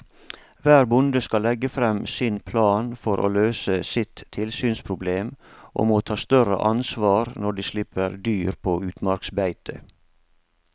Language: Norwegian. Hver bonde skal legge frem sin plan for å løse sitt tilsynsproblem og må ta større ansvar når de slipper dyr på utmarksbeite.